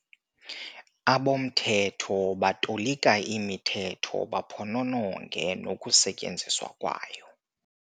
Abomthetho batolikaimithetho baphonononge nokusetyenziswa kwayo.